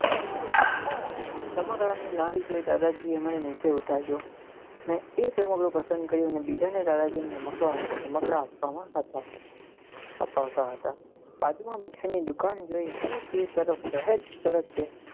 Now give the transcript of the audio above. રમકડા ની લારી જોઈ દાદાજી એ મને નીચે ઉતાર્યો મેં એક રમકડું પસંદ કર્યું ને બીજા ને દાદાજીને રમકડું આપવા માં હતા અપાવતા હતા બાજુ માં મીઠાઈ ની લારી જોઈ હું તેજ તરફ